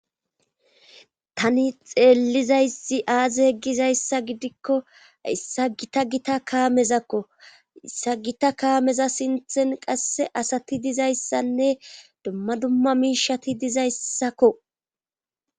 tani xeellizayssi aaze yeggizayssa gidikko hayssa gita gita kaametakko issa gita kaameza sinthen qasse asati dizayssanne dumma dumma miishati dizayssakko